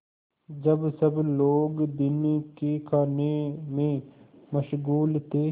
जब सब लोग दिन के खाने में मशगूल थे